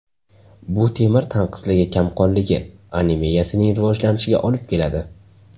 Bu temir tanqisligi kamqonligi – anemiyasining rivojlanishiga olib keladi.